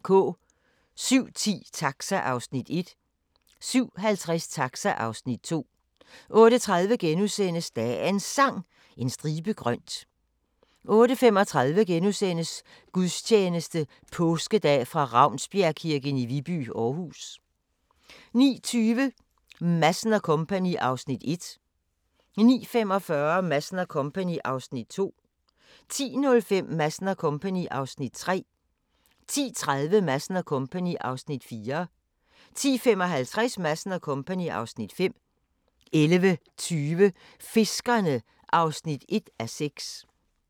07:10: Taxa (Afs. 1) 07:50: Taxa (Afs. 2) 08:30: Dagens Sang: En stribe grønt * 08:35: Gudstjeneste Påskedag fra Ravnsbjergkirken i Viby, Aarhus * 09:20: Madsen & Co. (Afs. 1) 09:45: Madsen & Co. (Afs. 2) 10:05: Madsen & Co. (Afs. 3) 10:30: Madsen & Co. (Afs. 4) 10:55: Madsen & Co. (Afs. 5) 11:20: Fiskerne (1:6)